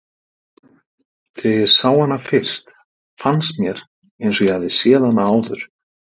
Þegar ég sá hana fyrst fannst mér eins og ég hefði séð hana áður.